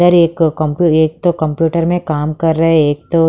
इधर एक कंपू एक तो कंप्यूटर में काम कर रहे एक तो --